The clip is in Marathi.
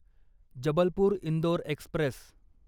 जबलपूर इंदोर एक्स्प्रेस